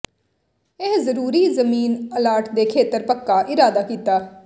ਇਹ ਜ਼ਰੂਰੀ ਜ਼ਮੀਨ ਅਲਾਟ ਦੇ ਖੇਤਰ ਪੱਕਾ ਇਰਾਦਾ ਕੀਤਾ